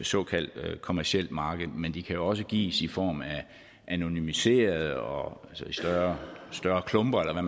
såkaldt kommercielt marked men de kan jo også gives i form af anonymiserede og større klumper eller